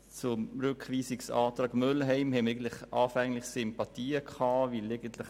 Für den Rückweisungsantrag Mühlheim haben wir eigentlich anfänglich Sympathien gehabt.